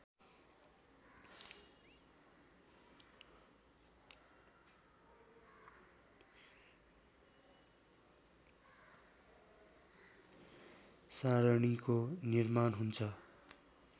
सारणीको निर्माण हुन्छ